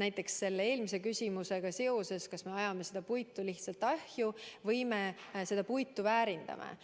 näiteks selle eelmise küsimusega seoses, kas me ajame puitu lihtsalt ahju või me seda puitu väärindame.